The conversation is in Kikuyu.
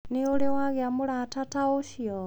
Nĩ ũrĩ wagĩa na mũrata ta ũcio?